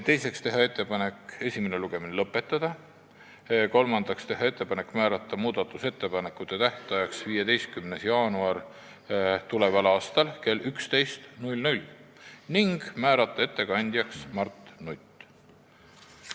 Teiseks tehti ettepanek esimene lugemine lõpetada ja kolmandaks määrata muudatusettepanekute tähtajaks 15. jaanuar tuleval aastal kell 11 ning määrata ettekandjaks Mart Nutt.